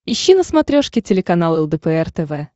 ищи на смотрешке телеканал лдпр тв